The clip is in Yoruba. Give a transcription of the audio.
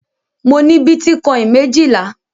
Mo ní bítíkọ́ìn méjìlá.